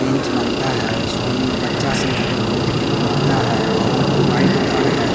Bench बनता है school में बच्चा सब उस पर बैठ के पड़ता है बहुत व्हाईट घर है।